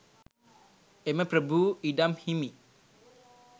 එම ප්‍රභූ ඉඩම් හිමි